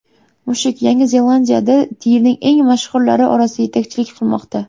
Mushuk Yangi Zelandiyada yilning eng mashhurlari orasida yetakchilik qilmoqda.